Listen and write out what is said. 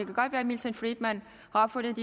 kan godt være milton friedman har opfundet